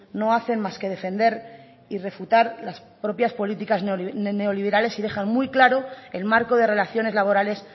no hacen más que defender y refutar las propias políticas neoliberales y dejan muy claro el marco de relaciones laborales